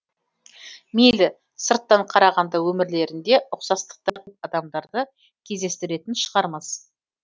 мейлі сырттан қарағанда өмірлерінде ұқсастықтар адамдарды кездестіретін шығармыз